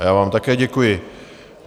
A já vám také děkuji.